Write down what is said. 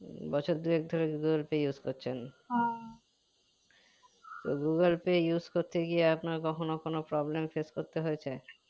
উম বছর দু এক ধরে google pay use করছেন তো google pay use করতে গিয়ে আপনার কখনো কোনো problem face করতে হয়েছে